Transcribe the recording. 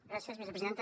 gràcies vicepresidenta